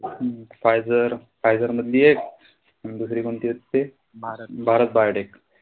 हम्म Pfizer Pfizer मधली एक अन दुसरी कोणती होती ते भारत बायोटेक.